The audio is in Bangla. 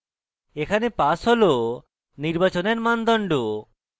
এখানে pass হল নির্বাচনের মানদণ্ড